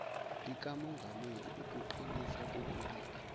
likamongameli ukuqinisa kokubili